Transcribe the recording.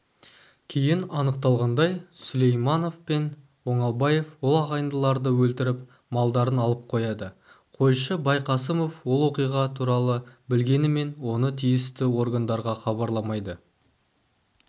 кейін анықталғандай сүлейманов пен оңалбаев ол ағайындыларды өлтіріп малдарын алып қояды қойшы байқасымов ол оқиға туралы білгенімен оны тиісті органдарға хабарламайды